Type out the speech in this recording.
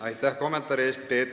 Aitäh kommentaari eest!